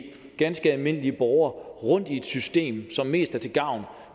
ganske almindelige borgere rundt i et system som mest er til gavn